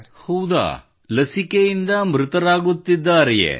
ಹೌದಾ ಲಸಿಕೆಯಿಂದ ಮೃತರಾಗುತ್ತಿದ್ದಾರೆಯೇ